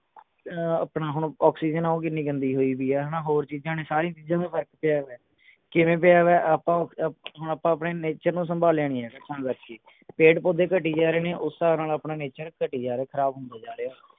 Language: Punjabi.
ਅਹ ਆਪਣਾ ਹੁਣ ਓਕ੍ਸੀਜਨ ਹੋ ਗਈ ਕਿੰਨੀ ਗੰਦੀ ਹੋਈ ਵੀ ਹੈ ਹਣਾ ਹੋਰ ਚੀਜਾਂ ਨੇ ਸਾਰੀਆਂ ਚੀਜਾਂ ਦਾ ਫਰਕ ਪਿਆ ਹੈਗਾ ਕਿਵੇਂ ਪਿਆ ਵਿਆ ਆਪਾਂ ਹੁਣ ਆਪਾਂ ਆਪਣੇ nature ਨੂੰ ਸੰਭਾਲਿਆਂ ਨਹੀਂ ਜਾ ਰਿਹਾ ਤਾਂ ਕਰਕੇ ਪੇੜ ਪੌਧੇ ਘਟੀ ਜਾ ਰਹੇ ਨੇ ਉਹ ਹਿਸਾਬ ਨਾਲ ਆਪਣਾ nature ਘਟੀ ਜਾ ਰਿਹੇ ਖਰਾਬ ਹੁੰਦਾ ਜਾ ਰਿਹੇ